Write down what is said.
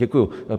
Děkuji.